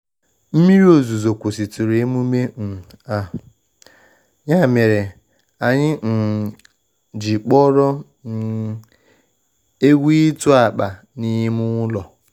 Mmiri ozuzo kwusitụrụ emume um a, ya mere anyị um ji kpọrọ um egwu ịtụ akpa n'ime ụlọ.